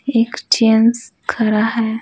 Exchange खरा है।